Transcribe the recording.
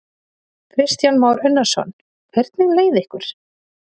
Kristján Már Unnarsson: Hvernig leið ykkur?